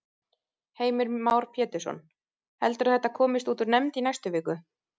Heimir Már Pétursson: Heldurðu að þetta komist út úr nefnd í næstu viku?